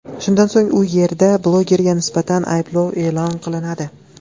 Shundan so‘ng u yerda blogerga nisbatan ayblov e’lon qilinadi.